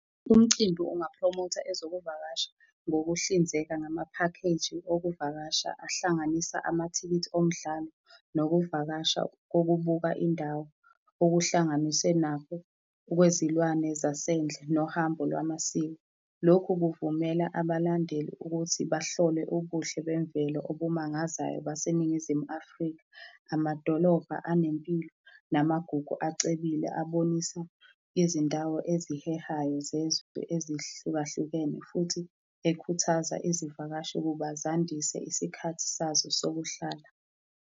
Umcimbi ungaphromotha ezokuvakasha ngokuhlinzeka ngamaphakheji okuvakasha ahlanganisa amathikithi omdlalo nokuvakasha kokubuka indawo, okuhlanganise nakho okwezilwane zasendle nohambo lwamasiko. Lokhu kuvumela abalandeli ukuthi bahlole ubuhle bemvelo obumangazayo baseNingizimu Afrika, amadolobha anempilo namagugu acebile aboniswa izindawo ezihehayo zezwe ezihlukahlukene futhi ekhuthaza izivakashi ukuba zandise isikhathi sazo sokuhlala.